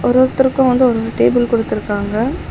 ஒரு ஒருத்தருக்கும் வந்து ஒரு ஒரு டேபிள் குடுத்திருக்காங்க.